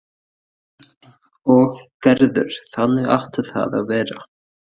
Örn og Gerður, þannig átti það að vera.